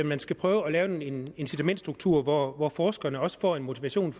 man skal prøve at lave en incitamentstruktur hvor hvor forskerne også får en motivation